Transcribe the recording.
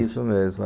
Isso mesmo.